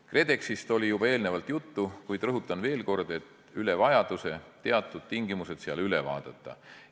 KredExist oli juba eelnevalt juttu, kuid rõhutan veel kord üle vajaduse teatud tingimused seal üle vaadata.